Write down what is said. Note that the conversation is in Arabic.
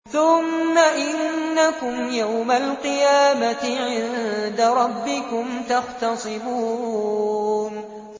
ثُمَّ إِنَّكُمْ يَوْمَ الْقِيَامَةِ عِندَ رَبِّكُمْ تَخْتَصِمُونَ